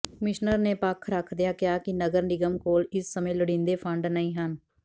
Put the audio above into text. commissioner ਨੇ ਪੱਖ ਰੱਖਦਿਆਂ ਕਿਹਾ ਕਿ ਨਗਰ ਨਿਗਮ ਕੋਲ ਇਸ ਸਮੇਂ ਲੋੜੀਂਦੇ ਫੰਡ ਨਹੀਂ ਹਨ